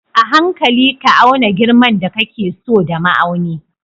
A hankali ka auna girman da kake so da ma'auni